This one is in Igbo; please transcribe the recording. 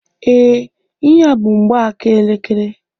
Ee, ihe a bú mgbaaka elekere